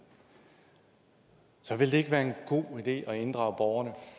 så ville det ikke være en god idé at inddrage borgerne